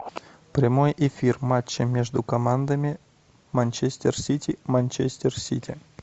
прямой эфир матча между командами манчестер сити манчестер сити